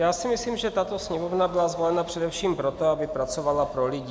Já si myslím, že tato Sněmovna byla zvolena především proto, aby pracovala pro lidi.